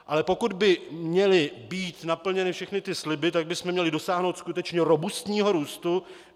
Ale pokud by měly být naplněny všechny ty sliby, tak bychom měli dosáhnout skutečně robustního růstu.